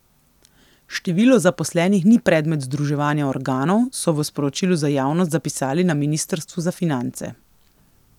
Število zaposlenih ni predmet združevanja organov, so v sporočilu za javnost zapisali na ministrstvu za finance.